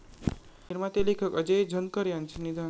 निर्माते, लेखक अजेय झणकर यांचं निधन